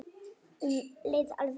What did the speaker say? En um leið erfitt líka.